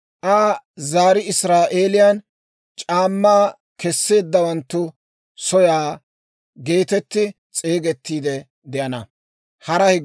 Aa zarii Israa'eeliyaan, ‹C'aammaa Keseeddawanttu soyaa› geetetti s'eegettiide de'ana.